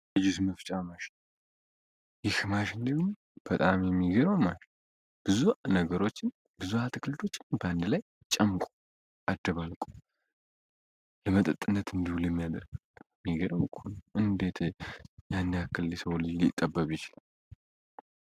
ለጅዝምፍጫ ማሽ ይህ ማሽንለ በጣም የሚገረው ማሽ ብዙ ነገሮችን ብዙ አትክልቶችን በአንድ ላይ ጨምቁ አደባልቁ ለመጠጥነት እንዲሁል የሚያደር ሚገረው እንኮ ነው እንዴት ያናያክል የሰው ልጅ ሊጠበብ ይችላል።